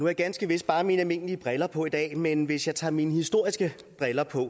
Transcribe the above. jeg ganske vist bare mine almindelige briller på i dag men hvis jeg tager mine historiske briller på